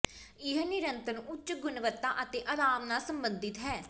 ਇਹ ਨਿਰੰਤਰ ਉੱਚ ਗੁਣਵੱਤਾ ਅਤੇ ਅਰਾਮ ਨਾਲ ਸੰਬੰਧਿਤ ਹੈ